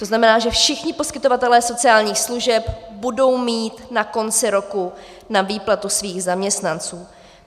To znamená, že všichni poskytovatelé sociálních služeb budou mít na konci roku na výplatu svých zaměstnanců.